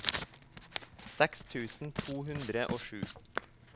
seks tusen to hundre og sju